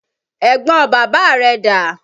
Ẹ̀gbọn bàbá rẹ dà?